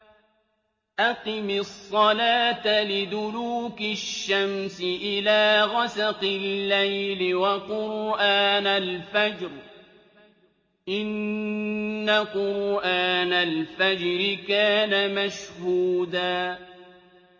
أَقِمِ الصَّلَاةَ لِدُلُوكِ الشَّمْسِ إِلَىٰ غَسَقِ اللَّيْلِ وَقُرْآنَ الْفَجْرِ ۖ إِنَّ قُرْآنَ الْفَجْرِ كَانَ مَشْهُودًا